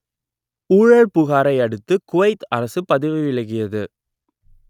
ஊழல் புகாரை அடுத்து குவைத் அரசு பதவி விலகியது